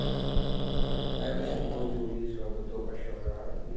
Aí ela chegou, ouviu isso, ela botou eu para chorar.